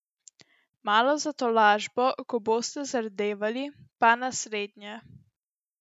Malo za tolažbo, ko boste zardevali, pa naslednje.